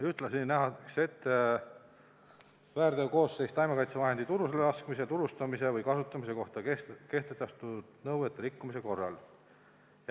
Ühtlasi nähakse ette väärteokoosseis taimekaitsevahendi turule laskmise, turustamise või kasutamise kohta kehtestatud nõuete rikkumise korral.